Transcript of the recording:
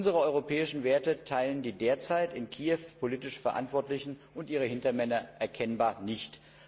Unsere europäischen Werte teilen die derzeit in Kiew politisch Verantwortlichen und ihre Hintermänner erkennbar nicht.